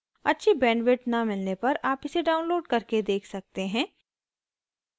अच्छी bandwidth न मिलने पर आप इसे download करके देख सकते हैं